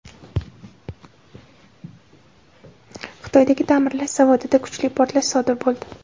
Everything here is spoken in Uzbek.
Xitoydagi ta’mirlash zavodida kuchli portlash sodir bo‘ldi.